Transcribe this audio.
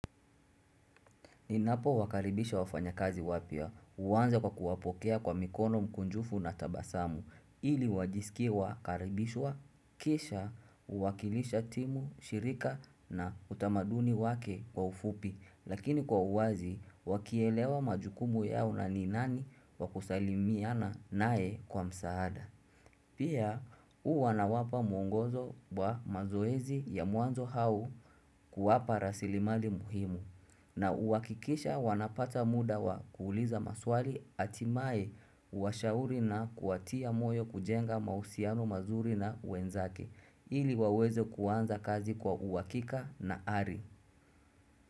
Ninapowakaribisha wafanyakazi wapya huanza kwa kuwapokea kwa mikono mkunjufu na tabasamu ili wajisikie wakaribishwa kisha uwakilisha timu, shirika na utamaduni wake kwa ufupi lakini kwa uwazi wakielewa majukumu yao na ni nani wa kusalimiana naye kwa msaada. Pia huwa nawapa mwongozo wa mazoezi ya mwanzo au kuwapa rasilimali muhimu na huwakikisha wanapata muda wa kuuliza maswali atimae kuwashauri na kuwatia moyo kujenga mahusiano mazuri na wenzake ili waweze kuanza kazi kwa uhakika na ari.